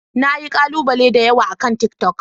Na yi kalubale da yawa akan tiktok.